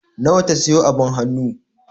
Nawa ta sayo abin hannu?